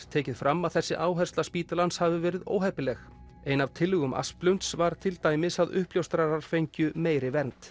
tekið fram að þessi áhersla spítalans hafi verið óheppileg ein af tillögum Asplunds var til dæmis að uppljóstrarar fengju meiri vernd